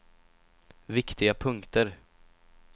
viktiga punkter